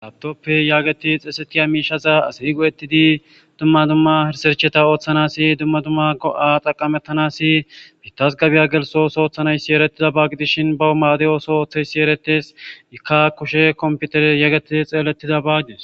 Laptop yaagi zeesettiya miishaza asi go7ettidi dumma dumma risercheta oothanaas dumma dumma go77a xaqqamettanaas biittas gabe gelsso ootho oothanayssi erettidaba gidishin baw maade ootho ootheyssi erettees ikka kushe komppitere geetettidi xeelettidaba gidees.